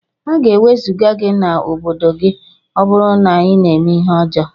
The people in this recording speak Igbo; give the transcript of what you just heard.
Aga ewezuga gi na obodo gi ọburu na ina eme ihe ọjọ.